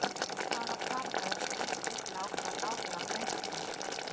Hvaða kvarða er stuðst við til að ákvarða gáfur á greindarprófum?